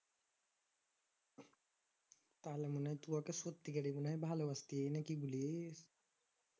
তাহলে মনে হয় তু ওকে সত্যি করে মনে হয় ভালবাসতে নাকি কি বলিস